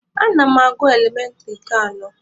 Ana m agụ elementịrị nke anọ.